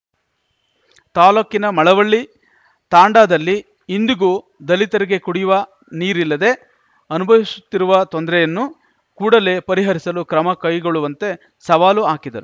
ತಾಲೂಕಿನ ಮಳವಳ್ಳಿ ತಾಂಡಾದಲ್ಲಿ ಇಂದಿಗೂ ದಲಿತರಿಗೆ ಕುಡಿಯುವ ನೀರಿಲ್ಲದೆ ಅನುಭವಿಸುತ್ತಿರುವ ತೊಂದರೆಯನ್ನು ಕೂಡಲೇ ಪರಿಹರಿಸಲು ಕ್ರಮ ಕೈಗೊಳ್ಳುವಂತೆ ಸವಾಲು ಹಾಕಿದರು